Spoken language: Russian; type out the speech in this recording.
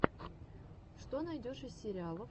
что найдешь из сериалов